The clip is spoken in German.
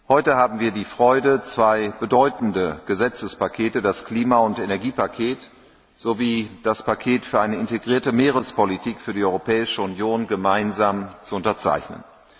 Heute haben wir die Freude, zwei bedeutende Gesetzespakete, das Klima und Energiepaket sowie das Paket für eine integrierte Meerespolitik für die Europäische Union, gemeinsam zu unterzeichnen.